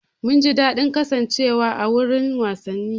Mun ji daɗin kasancewa a wurin wasanni.